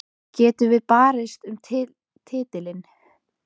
Getum við barist um titilinn?